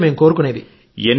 అంతే మేము కోరుకునేది